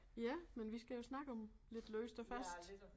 Ja men vi skal jo snakke om lidt løst og fast